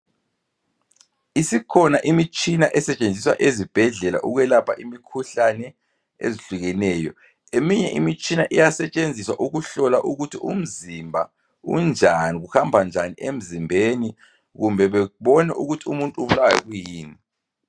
Isikhona imitshina esetshenziswa ezibhedlela ukwelapha imikhuhlane ezihlukeneyo eminye imitshina iyasetshenziswa ukuhlolwa ukuthi umzimba unjani kihamba njani emzimbeni kumbe bebone ukuthi umuntu ubulawa kuyini